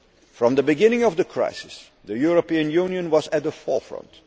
From the beginning of the crisis, the European Union was at the forefront.